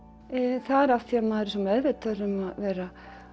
það er af því að maður er svo meðvitaður um að vera